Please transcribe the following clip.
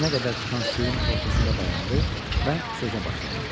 Dizinə qədər çıxan suyun ortasında dayandı və sözə başladı.